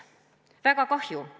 Väga kahju.